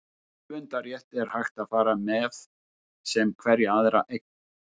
um höfundarrétt er hægt að fara með sem hverja aðra eign